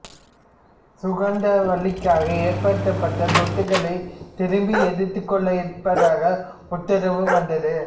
சுகந்தவல்லிக்காக ஏற்படுத்தப்பட்ட சொத்துக்களை திரும்ப எடுத்துக்கொள்ள இருப்பதாக உத்தரவு வந்தது